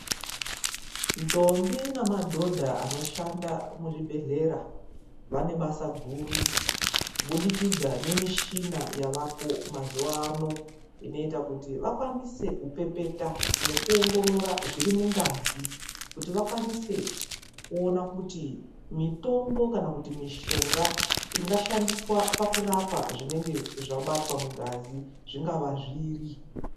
Ndombi nemadhodha anoshanda muzvibhedhlera, vanebasa guru kubudikidza ngemishina yavako mazuva ano, inoita kuti vakwanise kupepeta nekuongorora zviri mungazi kuti vakwanise kuona, kuti mitombo kana kuti mushonga ungashandiswa pakurapa zvinenge zvabatwa mungazi zvingava zviri.